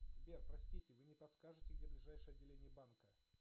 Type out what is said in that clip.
сбер простите вы не подскажете где ближайшее отделение банка